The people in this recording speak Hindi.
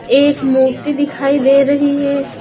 एक मूर्ति दिखाई दे रही हे ।